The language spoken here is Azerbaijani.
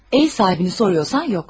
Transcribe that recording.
Ev sahibini soruşursansa, yoxdur.